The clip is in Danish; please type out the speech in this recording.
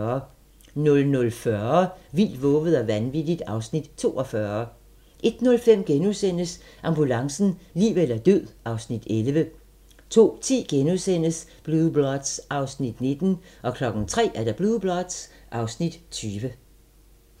00:40: Vildt, vovet og vanvittigt (Afs. 42) 01:05: Ambulancen - liv eller død (Afs. 11)* 02:10: Blue Bloods (Afs. 19)* 03:00: Blue Bloods (Afs. 20)